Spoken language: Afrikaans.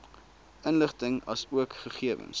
inligting asook gegewens